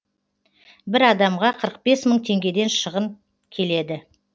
бір адамға қырық бес мың теңгеден шығын келеді